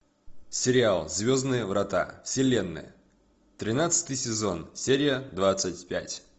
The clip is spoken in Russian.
сериал звездные врата вселенная тринадцатый сезон серия двадцать пять